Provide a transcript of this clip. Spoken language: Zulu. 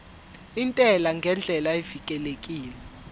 intela ngendlela evikelekile